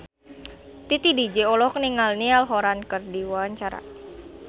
Titi DJ olohok ningali Niall Horran keur diwawancara